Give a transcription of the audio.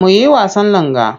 Mu yi wasan langa.